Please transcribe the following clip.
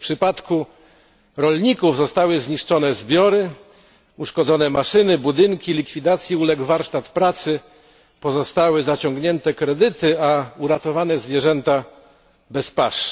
W przypadku rolników zostały zniszczone zbiory, uszkodzone maszyny, budynki, likwidacji uległ warsztat pracy, pozostały zaciągnięte kredyty, a uratowane zwierzęta zostały bez pasz.